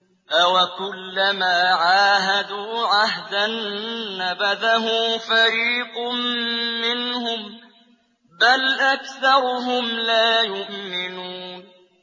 أَوَكُلَّمَا عَاهَدُوا عَهْدًا نَّبَذَهُ فَرِيقٌ مِّنْهُم ۚ بَلْ أَكْثَرُهُمْ لَا يُؤْمِنُونَ